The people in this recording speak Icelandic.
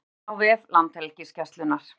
Nánar á vef Landhelgisgæslunnar